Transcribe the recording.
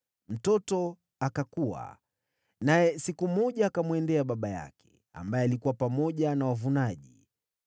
Mtoto akakua, naye siku moja akamwendea baba yake, ambaye alikuwa pamoja na wavunaji.